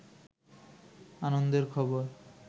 আনন্দের খবর